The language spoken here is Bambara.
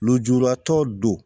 Lujuratɔ don